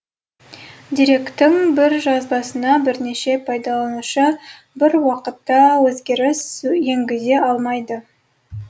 деректің бір жазбасына бірнеше пайдаланушы бір уақытта өзгеріс енгізе алмайды